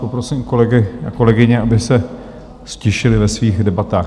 Poprosím kolegy a kolegyně, aby se ztišili ve svých debatách.